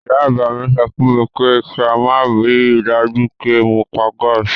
Ìyá àgbà mi sọ fún mi pé kí n máa rí i dájú pé mo pa gáàsì.